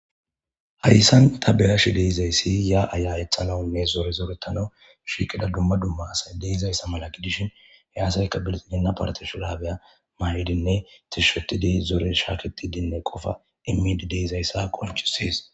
Haysan ta beyashe dizaysi ya'a ya'etanawnne zore zoretanaw shiqida duma duma asa de'izaysa mala gidishin he asayka bilxigina parte mayidine zore shaketidinne qopay immidi de'iyaysi qonc'isses.